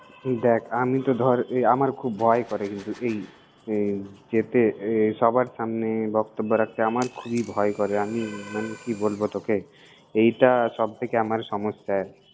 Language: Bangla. দ্যাখ, আমি তো ধর এর আমার খুব ভয় করে কিন্তু এই এই যেতে এর সবার সামনে বক্তব্য রাখতে আমার খুবই ভয় করে আমি মানে কি বলব তোকে! এইটা সব থেকে আমার সমস্যা।